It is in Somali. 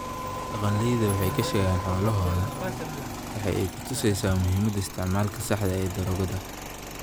Dhaqanleyda waxay ka sheegaan xoolahooda waxay ku tusaysaa muhiimada isticmaalka saxda ah ee daroogada.